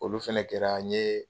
Olu fɛnɛ kɛra n ye